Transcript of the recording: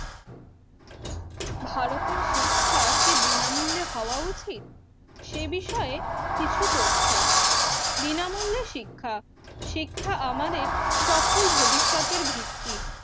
ভারতের শিক্ষা কি বিনামূল্যে হওয়া উচিত? সে বিষয়ে কিছু তথ্য, বিনামূল্য শিক্ষা, শিক্ষা আমাদের সফল ভবিষ্যতের ভিত্তি,